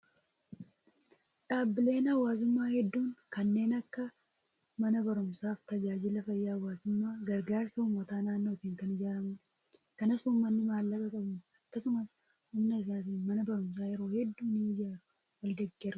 Dhaabbileen hawaasummaa hedduun kanneen akka mana barumsaa fi tajaajila fayyaa hawaasummaa gargaarsa uummata naannootiin kan ijaaramudha. Kanas uummanni maallaqa qabuun akkasumas humna isaatiin mana barumsaa yeroo hedduu ni ijaaru wal deeggarus.